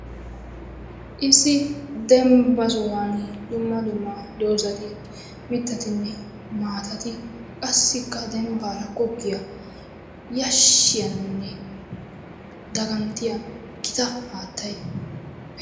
Issi dembba sohuwan dumma dumma dozati, mittati, maatati qassikka dembban goggiya yashshiyanne daaganttiya gita haattay de'es.